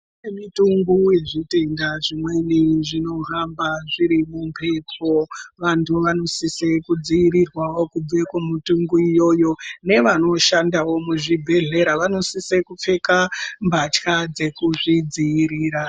Kune mitungu yezvitenda zvimweni zvinohamba zviri mumphepo. Vantu vanosise kudzivirirwawo kubve kumitungu iyoyo, nevanoshandawo muzvibhedhlera vanosise kupfeka mbatya dzekuzvidziirira.